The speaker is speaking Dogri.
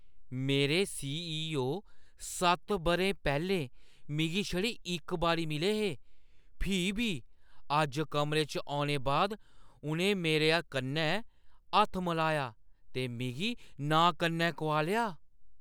मेरे सी.ई.ओ. सत्त बʼरे पैह्‌लें मिगी छड़े इक बारी मिले हे, फ्ही बी अज्ज कमरे च औने बाद उʼनें मेरे कन्नै हत्थ मलाया ते मिगी नांऽ कन्नै कुआलेआ।